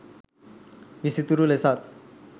විසිතුරු ලෙසත්